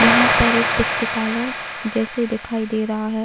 यहाँ पर एक पुस्तकालय जैसे दिखाई दे रहा है।